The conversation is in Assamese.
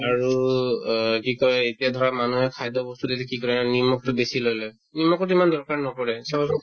আৰু অ কি কই এতিয়া ধৰা মানুহে খাদ্যবস্তু এইটো কি কৰে জানা নিমখতো বেছি লৈ লই নিমখত ইমান দৰকাৰ নপৰে চাউলত